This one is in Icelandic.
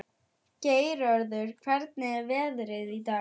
Geirröður, hvernig er veðrið í dag?